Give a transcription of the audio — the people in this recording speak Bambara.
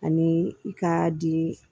Ani i k'a di